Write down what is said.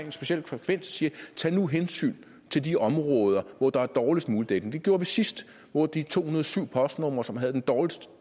bestemt frekvens at sige tag nu hensyn til de områder hvor der er dårligst muligt dækning det gjorde vi sidst hvor de to hundrede og syv postnumre som havde den dårligste